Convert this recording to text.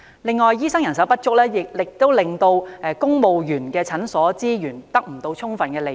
此外，醫生人手不足亦令公務員診所的資源未獲充分利用。